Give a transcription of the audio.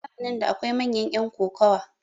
a zamanin da akwai manyan yan kokowa